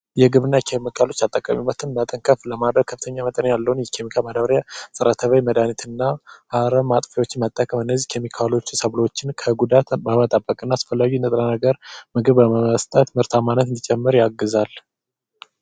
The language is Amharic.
የግብርና ኬሚካሎች ተጠቃሚነትን መጠን ከፍ ለማድረግ ከፍተኛ መጠን ያለውን የሚቀበል ማዳበርያ ፀረ ተባይ መድሃኒት እና አረም ማጥፊያዎችን መጠቀም እነዚህ ኬሚካሎች የሚቃወሙ ሰዎችን ከጉዳት በመጠብቅ እና አስፈላጊውን ንጥረ ነገር ምግብ በመስጠት ምርታማነት እንዲጨምር ያግዛል።